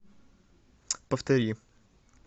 повтори